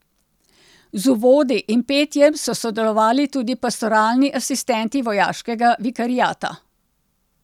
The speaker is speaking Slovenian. Z uvodi in petjem so sodelovali tudi pastoralni asistenti Vojaškega vikariata.